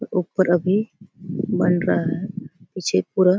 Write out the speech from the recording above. उपर अभी बन रहा हैं पीछे पूरा--